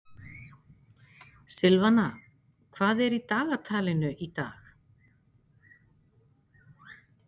Silvana, hvað er í dagatalinu í dag?